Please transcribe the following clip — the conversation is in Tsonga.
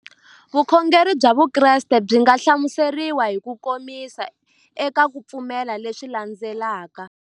Vukhongeri bya Vukreste byi nga hlamuseriwa hi kukomisa eka ku pfumela leswi landzelaka.